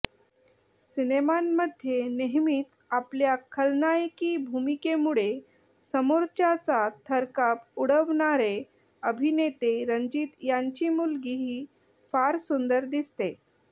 सिनेमांमध्ये नेहमीच आपल्या खलनायकी भूमिकेमुळे समोरच्याचा थरकाप उडवणारे अभिनेते रंजीत यांची मुलगीही फार सुंदर दिसते